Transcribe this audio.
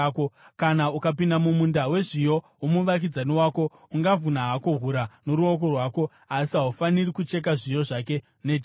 Kana ukapinda mumunda wezviyo womuvakidzani wako, ungavhuna hako hura noruoko rwako, asi haufaniri kucheka zviyo zvake nejeko.